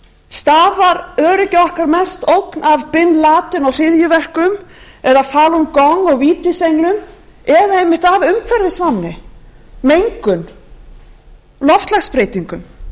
stafar öryggi okkar mest ógn af bin laden og hryðjuverkum eða falun gong og vítisenglum eða einmitt af umhverfisvánni mengun loftslagsbreytingum ég er búin að